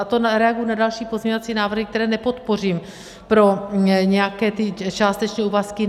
A to reaguji na další pozměňovací návrhy, které nepodpořím, pro nějaké ty částečné úvazky.